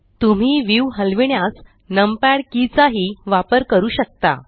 तुम्ही व्यू हलविण्यास numpad key चा ही वापर करू शकता